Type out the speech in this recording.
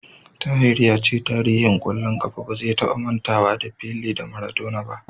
Tahir ya ce tarihin ƙwallon ƙafa ba zai taba mantawa da Pele da Maradona ba.